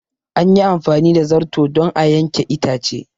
An yi amfani da zarto don a yanke itace.